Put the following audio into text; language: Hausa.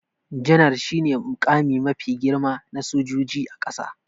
Janar shi ne muƙami mafi girma na sojojin ƙasa